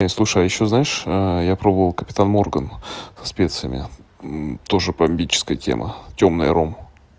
слушай а ещё знаешь я пробовал капитан морган со специями тоже бомбическая тема тёмный ром